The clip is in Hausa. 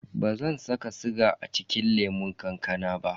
Bazan saka siga a cikin lemun kankanan ba.